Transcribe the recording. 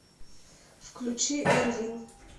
включи эр вин